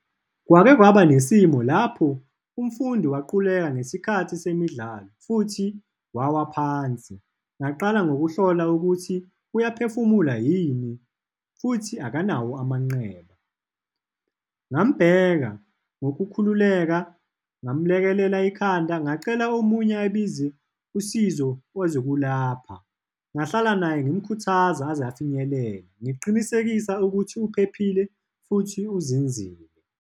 Kwake kwaba nesimo lapho umfundi waquleka ngesikhathi semidlalo, futhi wawa phansi. Ngaqala ngokuhlola ukuthi uyaphefumula yini, futhi akanawo amanqeba. Ngambheka ngokukhululeka, ngamlekelela ikhanda, ngacela omunye ayobiza usizo lwezokulapha, ngahlala naye ngimkhuthaza aze afinyelele, ngiqinisekisa ukuthi uphephile futhi uzinzile.